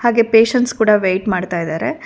ಗೇ ಪೇಷಂಟ್ಸ್ ಕೂಡ ವೇಟ್ ಮಾಡ್ತಾ ಇದ್ದಾರೆ.